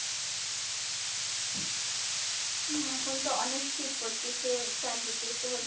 হ্যাঁ এখন তো অনেক শীত পরতিসে চারদিকে তো